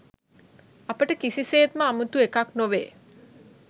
අපට කිසිසේත්ම අමුතු එකක් නොවේ